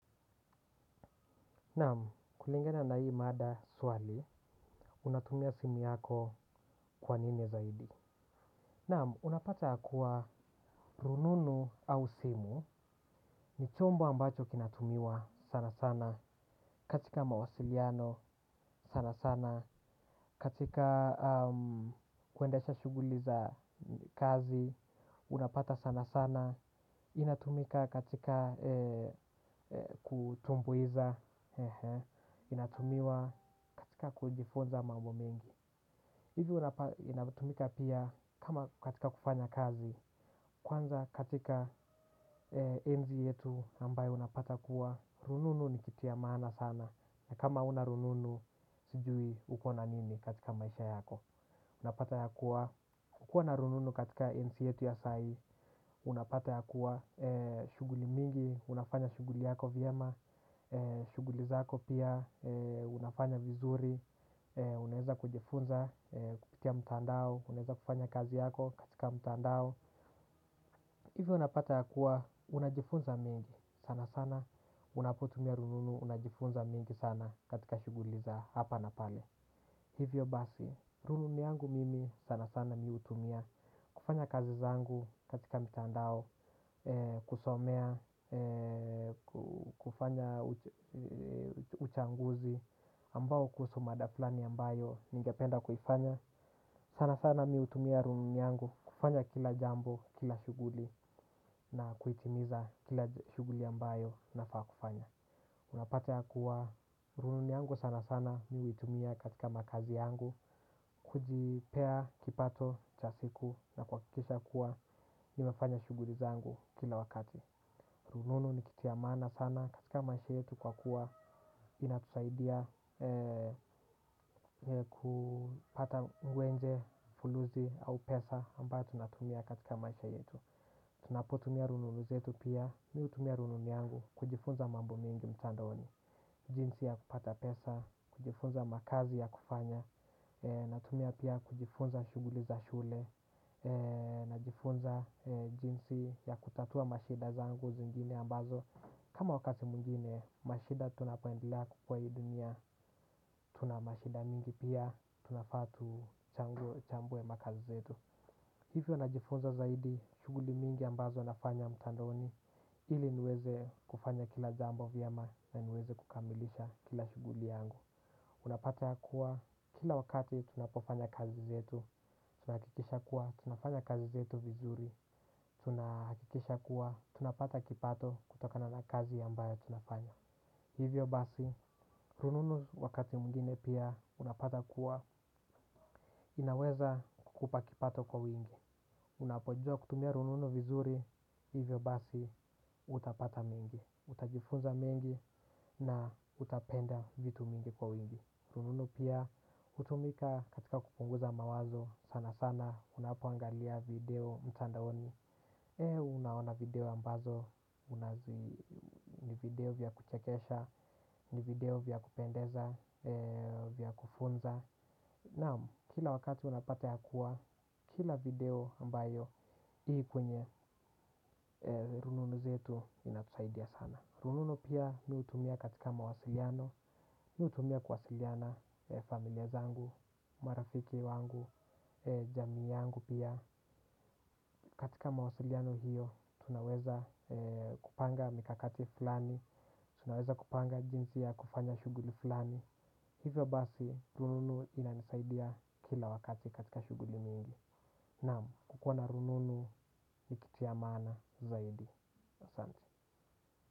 Naam, kulingana na hii mada swali, unatumia simu yako kwa nini zaidi. Naam, unapata ya kuwa rununu au simu, ni chombo ambacho kinatumiwa sana sana, katika mawasiliano sana sana, katika kuendesha shughuli za kazi, unapata sana sana. Inatumika katika kutumbuiza. Inatumiwa katika kujifunza mambo mengi. Hivyo inatumika pia kama katika kufanya kazi. Kwanza katika enzi yetu ambayo unapata kuwa rununu ni kitu ya maana sana. Kama huna rununu sijui uko na nini katika maisha yako. Unapata ya kuwa kukua na rununu katika enzi yetu ya sai unapata ya kuwa shughuli mingi. Unafanya shughuli yako vyema. Shughuli zako pia. Unafanya vizuri. Unaeza kujifunza kupitia mtandao unaeza kufanya kazi yako katika mtandao. Hivyo unapata ya kuwa unajifunza mengi sana sana. Unapotumia rununu unajifunza mingi sana katika shughuli zaHapa na pale. Hivyo basi rununu yangu mimi sana sana mimi hutumia kufanya kazi zangu katika mtandao. Kusomea, kufanya uchunguzi ambao kuhusu mada flani ambayo ningependa kufanya sana sana mimi hutumia rununu yangu kufanya kila jambo, kila shughuli na kuitimiza kila shughuli ambayo nafaa kufanya. Unapata ya kuwa rununu yangu sana sana mimi hutumia katika makazi yangu. Kujipea, kipato, cha siku na kuhakikisha kuwa nimefanya shughuli zangu kila wakati. Rununu ni kitu ya maana sana katika maisha yetu kwa kuwa inatusaidia kupata ngwenje, fulusi au pesa ambayo tunatumia katika maisha yetu. Tunapotumia rununu zetu pia, mimi hutumia rununu yangu kujifunza mambo mengi mtandaoni, jinsi ya kupata pesa, kujifunza makazi ya kufanya, natumia pia kujifunza shughuli za shule najifunza jinsi ya kutatua mashida zangu zingine ambazo kama wakati mwengine mashida tunapoendelea kukuwa hii dunia tuna mashida mingi pia tunafaa tuchambue makazi zetu hivyo najifunza zaidi shughuli mingi ambazo nafanya mtandaoni ili niweze kufanya kila jambo vyema na niweze kukamilisha kila shughuli yangu. Unapata ya kuwa, kila wakati tunapofanya kazi zetu, tunahakikisha kuwa, tunafanya kazi zetu vizuri. Tunahakikisha kuwa, tunapata kipato kutokana na kazi ambayo tunafanya. Hivyo basi, rununu wakati mwingine pia, unapata kuwa, inaweza kukupa kipato kwa wingi. Unapojua kutumia rununu vizuri, hivyo basi, utapata mingi. Utajifunza mingi na utapenda vitu mingi kwa wingi. Rununu pia hutumika katika kupunguza mawazo sana sana unapoangalia video mtandaoni. Unaona video ambazo, ni video vya kuchekesha, ni video vya kupendeza, vya kufunza. Naam, kila wakati unapata ya kuwa, kila video ambayo ii kwenye, rununu zetu inatusaidia sana. Rununu pia mimi hutumia katika mawasiliano mimi hutumia kuwasiliana familia zangu, marafiki wangu, jamii yangu pia. Katika mawasiliano hiyo, tunaweza kupanga mikakati fulani. Tunaweza kupanga jinsi ya kufanya shughuli fulani. Hivyo basi, rununu inanisaidia kila wakati katika shughuli mingi. Naam, kukuwa na rununu ni kitu ya maana zaidi. Asante.